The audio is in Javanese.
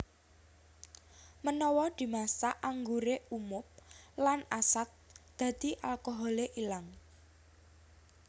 Menawa dimasak angguré umob lan asat dadi alkoholé ilang